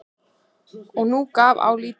Og nú gaf á að líta.